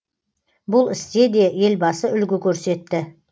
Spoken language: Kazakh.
бұл істе де елбасы үлгі көрсетті